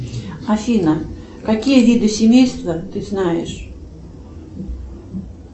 афина какие виды семейства ты знаешь